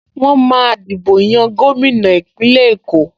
Wọ́n máa dìbò yan gómìnà Ìpínlẹ̀ Èkó